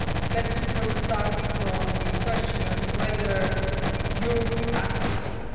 Let me first start with the question of whether Europe acted quickly.